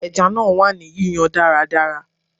Ẹja náà wà ní yíyan dáradára.